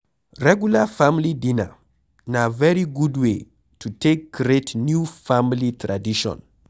Regular family dinner na very good way to take create new family tradition